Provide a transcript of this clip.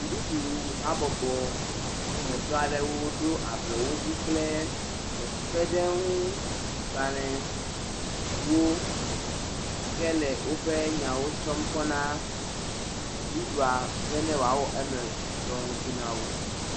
Dziɖuɖuhabɔbɔmetɔ aɖewo ɖo ablɔwodzi kple kpekpeɖeŋugbalewo hele woƒe nyawo tsɔm kɔ na dziɖuɖua be ne woawɔ eme dɔ ŋuti na wo.